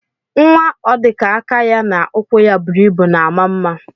Nwa odika aka ya na ụkwụ ya buru ibu na ama mma.